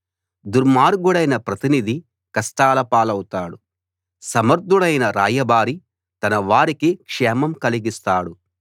దుర్మార్గుడైన ప్రతినిధి కష్టాల పాలవుతాడు సమర్ధుడైన రాయబారి తన వారికి క్షేమం కలిగిస్తాడు